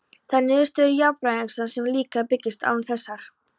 Þær niðurstöður jarðfræðirannsókna sem líkanið byggist á eru þessar